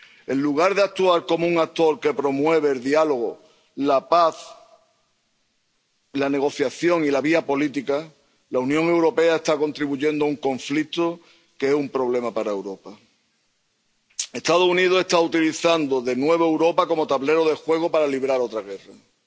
En lugar de actuar como un actor que promueve el diálogo, la paz, la negociación y la vía política, la Unión Europea está contribuyendo a un conflicto que es un problema para Europa. Los Estados Unidos están utilizando de nuevo a Europa como tablero de juego para librar otra guerra.